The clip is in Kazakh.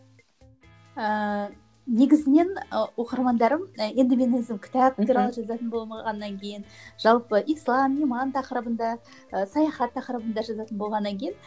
ііі негізінен і оқырмандарым енді мен өзім кітап туралы жазатын болмағаннан кейін жалпы ислам иман тақырыбында ы саяхат тақырыбында жазатын болғаннан кейін